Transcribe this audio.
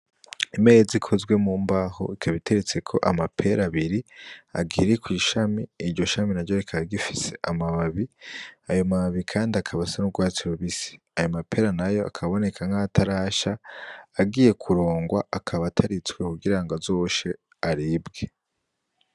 Imeza ikozwe mu mbaho ikaba iteretseko amapera abiri akiri kw' ishami iryo shami naryo rikaba rigifise amababi ayo mababi kandi akaba asa n' ugwatsi rubisi ayo mapera nayo akaboneka nk'ayatarasha agiye kurongwa akaba ataritswe kugira ngo azoshe aribwe.